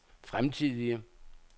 fremtidige